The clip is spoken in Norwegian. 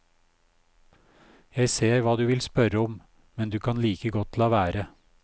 Jeg ser hva du vil spørre om, men du kan like godt la være.